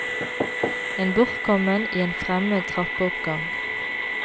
En bortkommen i en fremmed trappeoppgang.